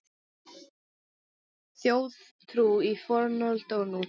Þjóðtrú í fornöld og nútíð